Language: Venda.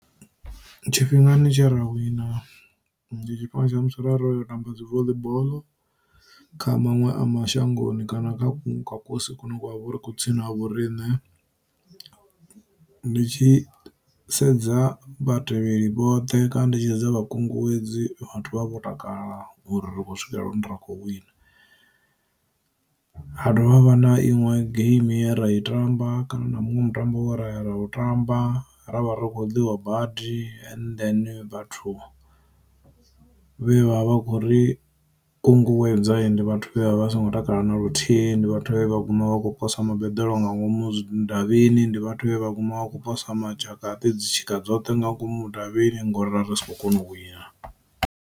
Tshifhingani tshe ra wina ndi tshifhinga tsha musi ra ro yo tamba dzi voḽi boḽo kha maṅwe a mashangoni kana kha kunṅwe kwa kosi kune kwa vhori kwu tsini na ha vhorine, ndi tshi sedza vha tevheli vhoṱhe kana ndi tshi sedza vha kunguwedzi vhathu vho takala uri ri khou swikelela hune ra kho wina. Ha dovha havha na iṋwe geimi ye ra i tamba kana na muṅwe mutambo wa ra ya ra u tamba ra vha ri khou ḽiwa badi and then vhathu vhe vha vha vha khou ri u kunguwedza ndi vhathu vha vha songo takala na luthihi, ndi vhathu vhe vha gu u vha khou posa ma beḓelo nga ngomu mudavhini ndi vhathu vhane vha guma vha khou posa madzhakaṱi dzi tshika dzoṱhe nga ngomu mudavhini ngori ra si kho kona u wina.